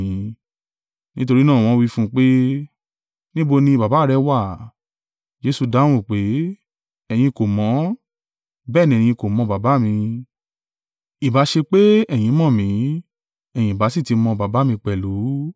Nítorí náà wọ́n wí fún un pé, “Níbo ni Baba rẹ wà?” Jesu dáhùn pé, “Ẹ̀yin kò mọ̀ mí, bẹ́ẹ̀ ni ẹ kò mọ Baba mi, ìbá ṣe pé ẹ̀yin mọ̀ mí, ẹ̀yin ìbá sì ti mọ Baba mi pẹ̀lú.”